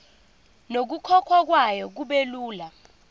nokukhokhwa kwayo kubelula